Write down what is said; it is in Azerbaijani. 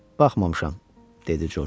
Baxmamışam, dedi Corc.